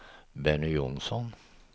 Benny Jonsson